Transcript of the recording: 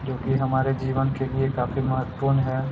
जो की हमारे जीवन के लिए काफी महत्पूर्ण हैं।